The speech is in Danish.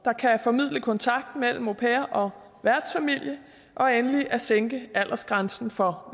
kan formidle kontakt mellem au pair og værtsfamilie og endelig at sænke aldersgrænsen for